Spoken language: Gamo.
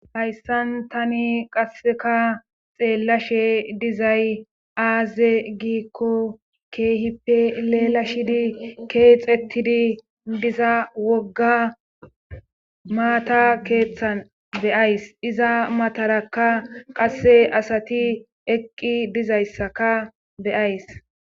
Hayssan tani qasseka xeellashe dizay aaze giikko keehippe leela shidi keexettidi diza wogga maata keeththan beyays iza matarakka qasse asati eqqi dizayssaka beyays